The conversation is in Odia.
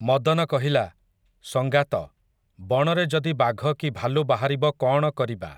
ମଦନ କହିଲା, ସଙ୍ଗାତ, ବଣରେ ଯଦି ବାଘ କି ଭାଲୁ ବାହାରିବ କଅଣ କରିବା ।